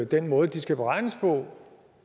den måde de skal beregnes på